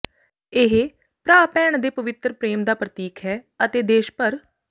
ਇਹ ਭਰਾ ਭੈਣ ਦੇ ਪਵਿੱਤਰ ਪ੍ਰੇਮ ਦਾ ਪ੍ਰਤੀਕ ਹੈ ਅਤੇ ਦੇਸ਼ ਭਰ